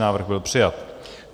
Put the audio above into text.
Návrh byl přijat.